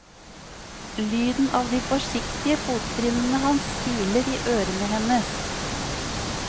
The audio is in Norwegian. Lyden av de forsiktige fottrinnene hans kiler i ørene hennes.